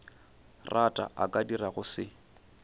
rata a ka dirago se